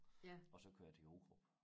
Og så kører jeg til Hurup